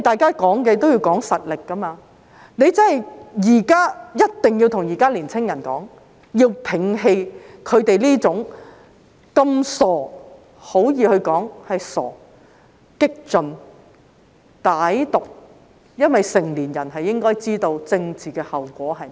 較量也要看實力，他們必須告訴年青人，要摒棄這種傻氣——可以說是傻氣——激進、歹毒的思想，因為成年人應該知道政治後果是甚麼。